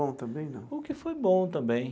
Bom também não. O que foi bom também.